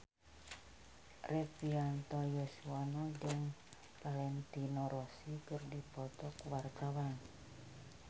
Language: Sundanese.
Rektivianto Yoewono jeung Valentino Rossi keur dipoto ku wartawan